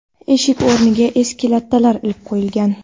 Eshik o‘rniga eski lattalar ilib qo‘yilgan.